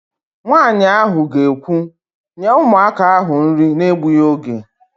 Nwaanyị ahụ ga-ekwu, "nye ụmụaka ahụ nri na-egbughị oge"!